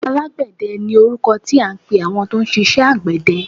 Alágbẹ̀dẹ ni orúkọ tí à ń pẹ àwọn tó ń ṣiṣẹ àgbẹ̀dẹ.